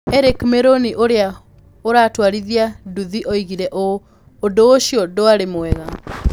Eric Miruni ũrĩa ũratwarithia nduthi oigire ũũ: "Ũndũ ũcio ndwarĩ mwega.